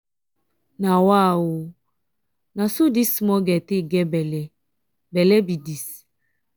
nawa oo! na so dis small girl take get bele bele be dis.